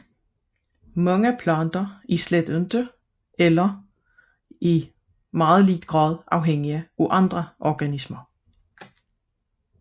Mange planter er slet ikke eller kun i ringe grad afhængige af andre organismer